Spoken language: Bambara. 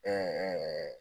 Ɛɛ ɛɛ